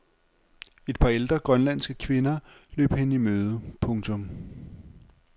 Et par ældre grønlandske kvinder løb hende i møde. punktum